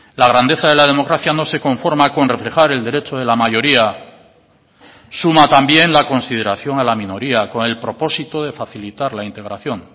la grandeza de la democracia no se conforma con reflejar el derecho de la mayoría suma también la consideración a la minoría con el propósito de facilitar la integración